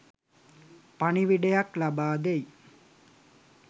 පණිවිඩයක් ලබාදෙයි.